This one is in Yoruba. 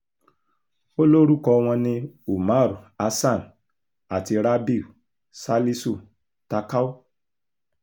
ó lórúkọ wọn ní umar hasan àti rabiu salisu takau